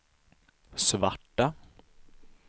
svarta